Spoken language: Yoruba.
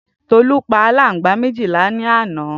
Tolu pa alangba méjì lalẹ àná